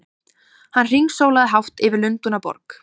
Hann hringsólaði hátt yfir Lundúnaborg!